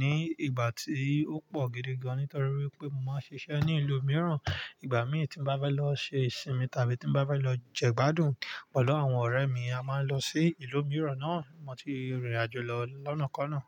ní ìgbà tí ó pọ̀ gidi gan nítorí wípé mo máa ń ṣiṣẹ́ ní ìlú mìíràn. Ìgbà mí tí n bá bá lọ ṣe ìsinmi tàbí tí n bá bá lọ jẹ gbádùn pẹ̀lú àwọn ọ̀rẹ́ mi, a máa ń lọ sí ìlú mìíràn náà. Mo ti rìnrìn àjò lọ lọ́nàkọ́ náà.